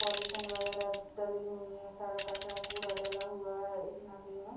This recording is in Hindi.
पॉलीथिन वैगरह डली हुई है सारा कचरा कूड़ा डला हुआ है इस नदी में।